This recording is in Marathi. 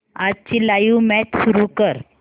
आजची लाइव्ह मॅच सुरू कर